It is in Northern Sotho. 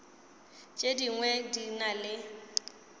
tše dingwe di na le